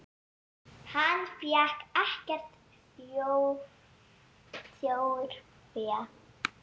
Hann fékk ekkert þjórfé.